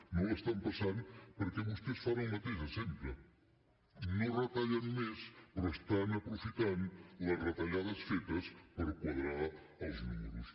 no la passen perquè vostès fan el mateix de sempre no retallen més però aprofiten les retallades fetes per quadrar els números